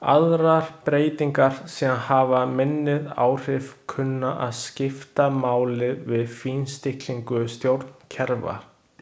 Aðrar breytingar sem hafa minni áhrif kunna að skipta máli við fínstillingu stjórnkerfa.